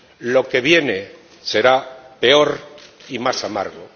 Lo que viene será peor y más amargo.